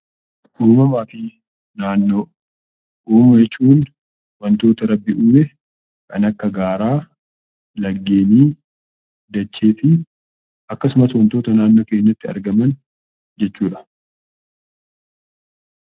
Uumamaa fi Naannoo Uumama jechuun wanta rabbi uume, kan akka gaaraa, laggeenii, dachee fi akkasumas wantoota naannoo keenyatti argaman jechuu dha.